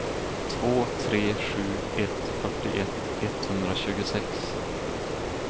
två tre sju ett fyrtioett etthundratjugosex